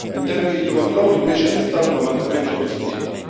In termini di controllo, invece, c'è stato un avanzamento positivo.